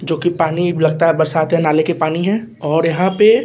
जो की पानी लगता है बरसात के नाले के पानी है और यहां पर --